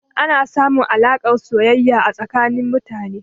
Ana samun alaƙar soyayya tsanin mutane.